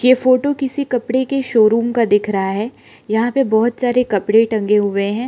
ये फोटो किसी कपड़े के शोरूम का दिख रहा है यहां पे बहुत सारे कपड़े टंगे हुए हैं।